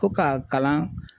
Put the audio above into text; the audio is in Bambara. Fo ka kalan